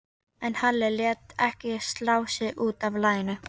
En Halli lét ekki slá sig út af laginu.